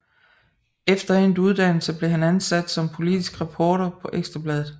Efter endt uddannelse blev han ansat som politisk reporter på Ekstra Bladet